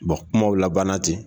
kumaw labanna ten